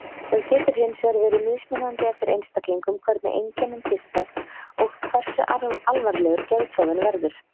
Það getur hinsvegar verið mismunandi eftir einstaklingum hvernig einkennin birtast og hversu alvarlegur geðklofinn verður.